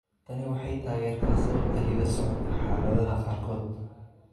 Tani waxay taageertaa sababta hidda-socodka xaaladaha qaarkood.